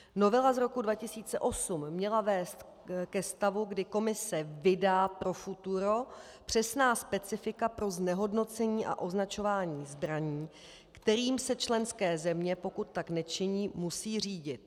Novela z roku 2008 měla vést ke stavu, kdy Komise vydá pro futuro přesná specifika pro znehodnocení a označování zbraní, kterými se členské země, pokud tak nečiní, musí řídit.